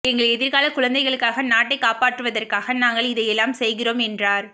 எங்கள் எதிர்கால குழந்தைகளுக்காக நாட்டைக் காப்பாற்றுவதற்காக நாங்கள் இதையெல்லாம் செய்கிறோம் என்றார்